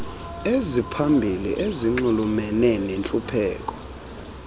eziphambili ezinxulumene nentlupheko